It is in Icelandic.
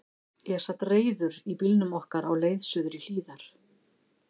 Ég sat reiður í bílnum okkar á leið suður í Hlíðar.